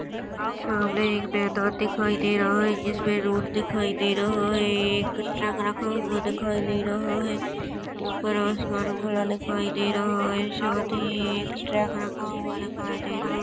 सामने एक मैदान दिखाई दे रहा है जिसमे एक रोड दिखाई दे रहा है एक ट्रक रखा हुआ दिखाई दे रहा है ऊपर आसमान दिखाई दे रहा है साथी ही एक ट्रैक रखा हुआ दिखाई दे रहा--